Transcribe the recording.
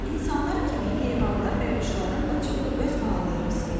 İnsanlar kimi heyvanlar və quşların da çoxu öz balalarını sevir.